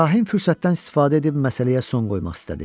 Kahin fürsətdən istifadə edib məsələyə son qoymaq istədi.